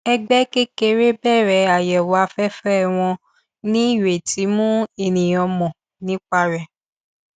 ẹgbẹ kékeré bẹrẹ àyẹwò afẹfẹ wọn ní ìrètí mú ènìyàn mọ nípa rẹ